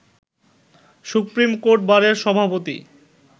supreme court বারের সভাপতি